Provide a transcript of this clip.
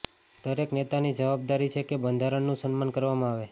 દરેક નેતાની જવાબદારી છે કે બંધારણનું સન્માન કરવામાં આવે